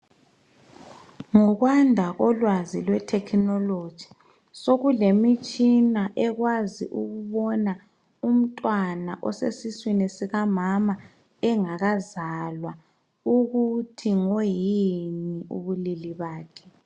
Ngokwanda kolwazi lwe thekhinoloji sokulemitshina eiwazi ukubona umntwana osesiswini sikanama engakazalwa ukuthi ngoyini ubulili bakhe